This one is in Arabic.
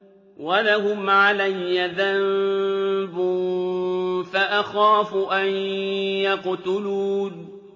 وَلَهُمْ عَلَيَّ ذَنبٌ فَأَخَافُ أَن يَقْتُلُونِ